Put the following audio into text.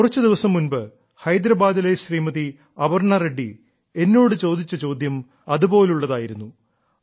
കുറച്ചുദിവസം മുൻപ് ഹൈദരാബാദിലെ ശ്രീമതി അപർണ്ണാ റെഡ്ഡി എന്നോട് ചോദിച്ച ചോദ്യം അതുപോലുള്ളതായിരുന്നു